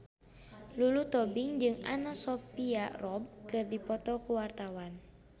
Lulu Tobing jeung Anna Sophia Robb keur dipoto ku wartawan